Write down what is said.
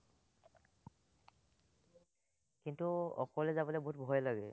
সেটো অকলে যাবলে বহুত ভয় লাগে।